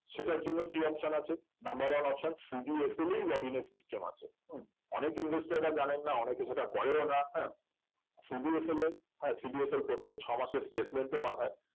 সেটার জন্যকি option আছে number one option CDSL এই login এর system আছে হম অনেক investor রা জানেন না অনেকে সেটা করেও না হ্যাঁ CDSL এ হ্যাঁ CDSL প্রত্যেক ছয়মাসের statement ও পাঠায়